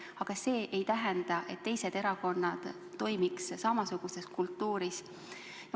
Aga see ei tähenda, et teised erakonnad toimivad samasuguses kultuuriruumis.